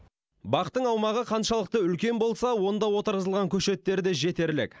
бақтың аумағы қаншалықты үлкен болса онда отырғызылған көшеттер де жетерлік